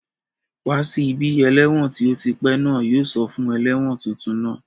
Wá sí bí! Ẹlẹ́wọ̀n tí ó ti pẹ́ náà yóò sọ fún ẹlẹ́wọ̀n tuntun náà